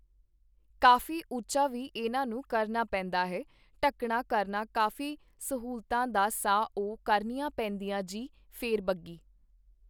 ਕਾਫੀ ਉੱਚਾ ਵੀ ਇਹਨਾਂ ਨੂੰ ਕਰਨਾ ਪੈਦਾ ਹੈ ਢੱਕਣਾ ਕਰਨਾ ਕਾਫੀ ਸਹੂਲਤਾਂ ਦਾ ਸਾ ਉਹ ਕਰਨੀਆਂ ਪੇੈਦੀਆਂ ਜੀ ਫੇਰ ਬਗੀ